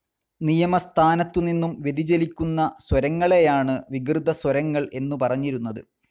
നിയത സ്ഥാനത്തു നിന്നും വ്യതിചലിക്കുന്ന സ്വരങ്ങളെയാണ് വികൃതസ്വരങ്ങൾ എന്നു പറഞ്ഞിരുന്നത്.